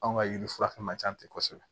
Anw ka yiri fura fɛn man ca ten kosɛbɛ